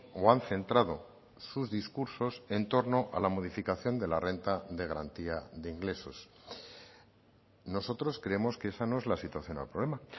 o han centrado sus discursos en torno a la modificación de la renta de garantía de ingresos nosotros creemos que esa no es la situación al problema